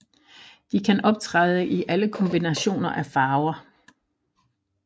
De kan optræde i alle kombinationer af farver